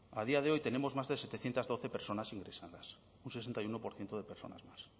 a día de hoy tenemos más de setecientos doce personas ingresadas un sesenta y uno por ciento de personas más